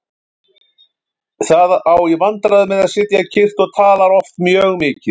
Það á í vandræðum með að sitja kyrrt og talar oft mjög mikið.